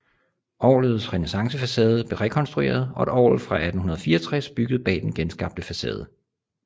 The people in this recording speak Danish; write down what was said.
Orglets renæssancefacade blev rekonstrueret og et orgel fra 1864 bygget bag den genskabte facade